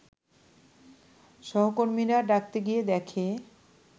সহকর্মীরা ডাকতে গিয়ে দেখে